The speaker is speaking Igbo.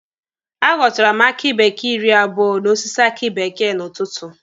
A ghọtara m aki bekee iri abụo n'osisi aki bekee n'ụtụtụ.